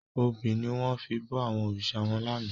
Óbi niwòn fi bò àwòn órisá wán làná